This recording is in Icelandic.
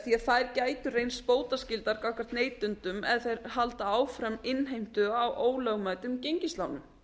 því þær gætu reynst bótaskyldar gagnvart neytendum ef þær halda áfram innheimtu á ólögmætum gengislánum